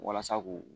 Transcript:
Walasa k'u